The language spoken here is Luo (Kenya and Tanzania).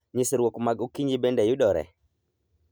Nyisrwok mag okinyi bende yudore?